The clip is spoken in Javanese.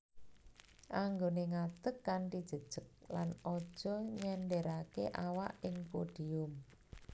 Anggoné ngadeg kanthi jejeg lan aja nyenderaké awak ing podium